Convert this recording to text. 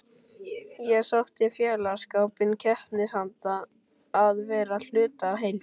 Ég sótti í félagsskapinn, keppnisandann, að vera hluti af heild.